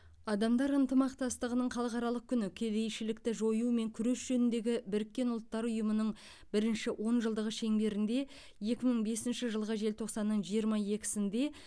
адамдар ынтымақтастығының халықаралық күні кедейшілікті жоюмен күрес жөніндегі біріккен ұлттар ұйымының бірінші онжылдығы шеңберінде екі мың бесінші жылғы желтоқсанның жиырма екісінде